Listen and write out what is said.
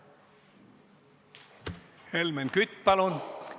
Helmen Kütt, palun!